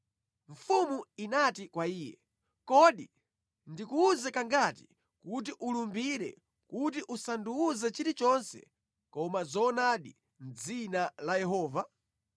Mfumu inati kwa iye, “Kodi ndikuwuze kangati kuti ulumbire kuti usandiwuze chilichonse koma zoonadi mʼdzina la Yehova?”